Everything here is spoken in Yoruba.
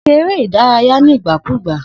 Se eré ìdárayé nígbà kúgbà